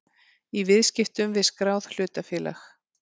í viðskiptum við skráð hlutafélag.